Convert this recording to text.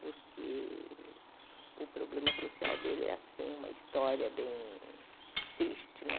Porque o problema social dele é assim, uma história bem triste, né?